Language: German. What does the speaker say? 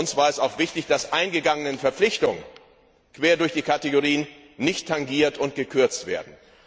Uns war es auch wichtig, dass eingegangene Verpflichtungen quer durch die Rubriken nicht tangiert und gekürzt werden.